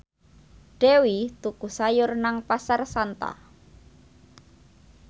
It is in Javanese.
Dewi tuku sayur nang Pasar Santa